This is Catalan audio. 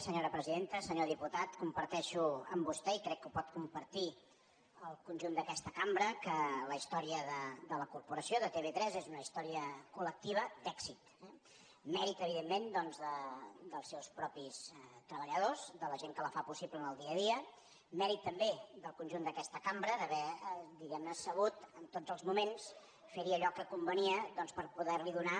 senyor diputat comparteixo amb vostè i crec que ho pot compartir el conjunt d’aquesta cambra que la història de la corporació de tv3 és una història col·lectiva d’èxit mèrit evidentment doncs dels seus mateixos treballadors de la gent que la fa possible en el dia a dia mèrit també del conjunt d’aquesta cambra d’haver diguem ne sabut en tots els moments fer hi allò que convenia per poder li donar